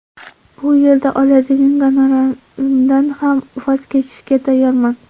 Bu yo‘lda oladigan gonorarimdan ham voz kechishga tayyorman.